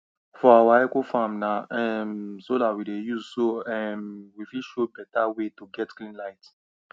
for our ecofarm na um solar we dey use so um we fit show better way to get clean light